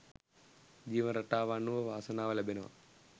ජීවන රටාව අනුව වාසනාව ලැබෙනවා.